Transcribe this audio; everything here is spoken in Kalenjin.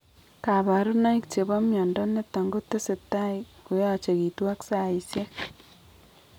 Kabarunaik chebo mnyondo niton kotesetai koyachegitu ag saisiek